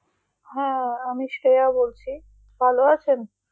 হ্যাঁ আমি শ্রেয়া বলছি, ভালো আছেন?